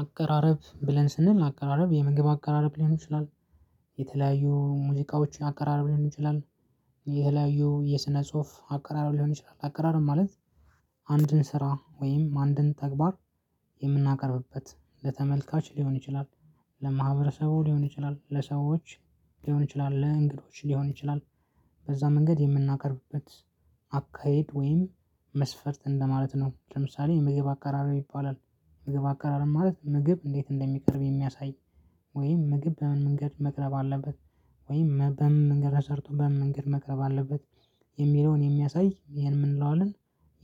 አቀራረብ ብለን ስንል አቀራረብ የምግብ አቀራረብ ሊሆን ይችላል። የተለያዩ ሙዚቃዎችን አቀራረብ ሊሆን ይችላል። የተለያዩ የስነ ጽሁፍ አቀራረብ ሊሆን ይችላል አቀራረብ ማለት አንድን ስራ ወይም አንድን ተግባር የምናቀርብበት ለተመልካች ሊሆን ይችላል። ለማህበረሰቡ ሊሆን ይችላል ለሰዎች ሊሆን ይችላል ለእንግዶች ሊሆን ይችላል በዛ መንገድ የምናቀርብበት አካሄድ ወይም መስፈርት እንደማለት ነው። ለምሳሌ የምግብ አከራረም ይባላል። ምግብ አከራረብ ማለት ምግብ እንዴት እንደሚቀርብ የሚያሳይ። ወይም ምግብ በምን መንገድ መቅረብ አለበት። ወይም በምን መንገድ ሰርቶ በምን መንገድ መቅረብ አለበት። የሚለውን የሚያሳይ ይሄን ምን እንለዋለን?